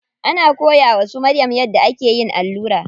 Ana koya wa su Maryam yadda ake yin allura.